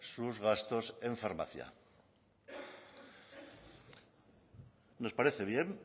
sus gastos en farmacia nos parece bien